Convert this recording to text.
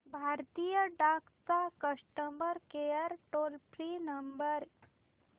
भारतीय डाक चा customer care toll free number